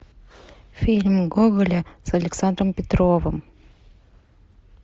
фильм гоголя с александром петровым